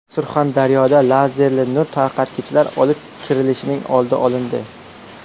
Surxondaryoda lazerli nur tarqatgichlar olib kirilishining oldi olindi.